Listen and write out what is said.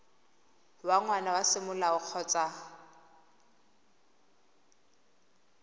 wa ngwana wa semolao kgotsa